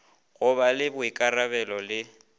go ba le boikarabelo le